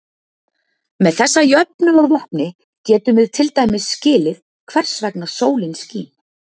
Með þessa jöfnu að vopni getum við til dæmis skilið hvers vegna sólin skín.